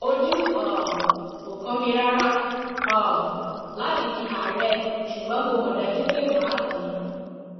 ojú um ò kàn mí rárá um láti di àárẹ ṣùgbọn mo mọ dájú pé mà á dì í